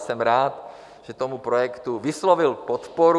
Jsem rád, že tomu projektu vyslovil podporu.